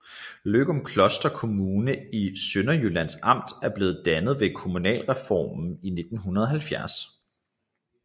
Løgumkloster Kommune i Sønderjyllands Amt blev dannet ved kommunalreformen i 1970